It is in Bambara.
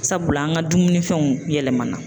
Sabula an ka dumunifɛnw yɛlɛmana